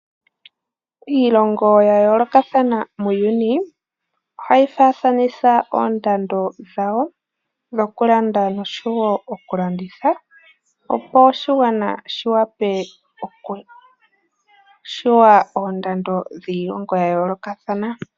Iilonga ya yoolokathana muuyuni, ohayi faafanitha oondando dhawo, dhoku landa noshowo oku landitha, opo oshigwana shi wape oku shuwa oondando dhiilongo ya yoolokathana.